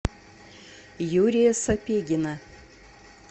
юрия сапегина